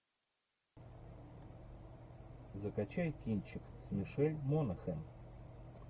закачай кинчик с мишель монахэн